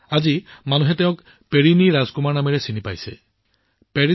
আজি মানুহে তেওঁক পেৰিনী ৰাজকুমাৰ নামেৰে জানিবলৈ আৰম্ভ কৰিছে